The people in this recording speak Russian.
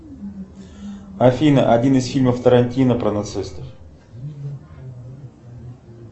афина один из фильмов тарантино про нацистов